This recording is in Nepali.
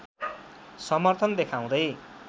समर्थन देखाउँदै